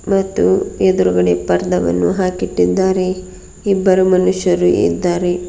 ಮತ್ತು ಎದ್ರುಗಡೆ ಪರ್ದ್ ವನ್ನು ಹಾಕಿಟ್ಟಿದ್ದಾರೆ ಇಬ್ಬರು ಮನುಷ್ಯರು ಇದ್ದಾರೆ.